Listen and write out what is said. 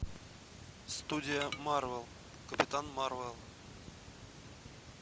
студия марвел капитан марвел